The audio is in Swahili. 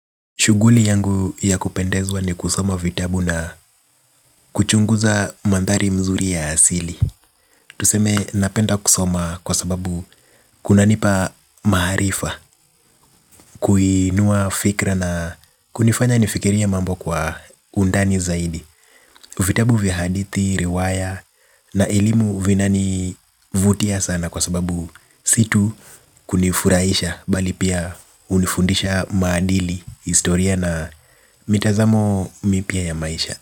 Shughuli yangu ya kupendezwa ni kusoma vitabu na kuchunguza mandhari mzuri ya asili. Tuseme napenda kusoma kwa sababu kunanipa maarifa. Kuinua fikra na kunifanya nifikirie mambo kwa undani zaidi. Vitabu vya hadithi, riwaya na elimu vinanivutia sana kwa sababu si tu kunifurahisha bali pia hunifundisha maadili, historia na mitazamo mipya ya maisha.